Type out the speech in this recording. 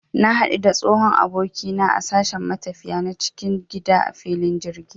Na hadu da tsohon abokina na a sashen matafiya na cikin gida a filin jirgi